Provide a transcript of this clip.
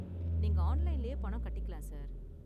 நீங்க ஆன்லைன்லயே பணம் கட்டிக்கலாம், சார்.